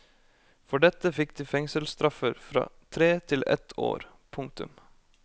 For dette fikk de fengselsstraffer fra tre til ett år. punktum